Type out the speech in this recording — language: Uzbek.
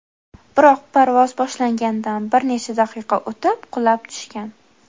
Biroq parvoz boshlangandan bir necha daqiqa o‘tib, qulab tushgan.